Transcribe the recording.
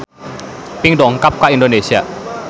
Pink dongkap ka Indonesia